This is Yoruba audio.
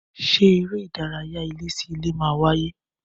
Ṣé eré ìdárayá ilé sí ilé máa wáyé